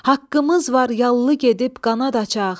Haqqımız var yallı gedib qanad açaq.